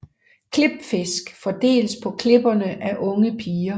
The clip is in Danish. Klipfisk fordeles på klipperne af unge piger